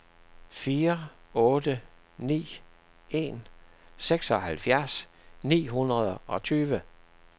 fire otte ni en seksoghalvfjerds ni hundrede og tyve